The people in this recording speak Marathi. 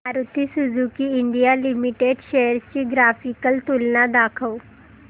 Maruti Suzuki India limited shares ची ग्राफिकल तुलना दाखव